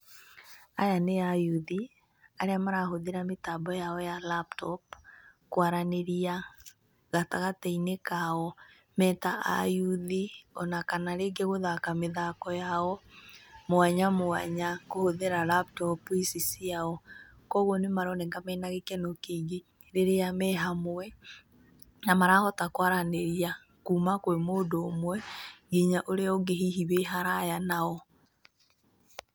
Aya nĩ ayuthi arĩa marahũthĩra mĩtambo yao ya laptop kwaranĩria gatagatĩ-inĩ kao me ta ayuthi o na kana rĩngĩ gũthaka mĩthako yao mwanya mwanya kũhũthĩra laptop ici ciao, kwoguo nĩ maroneka mena gĩkeno kĩingĩ rĩrĩa me hamwe na marahota kwaranĩria kuma kwĩ mũndũ ũmwe nginya ũrĩa ũngĩ hihi wĩ kũraya nao.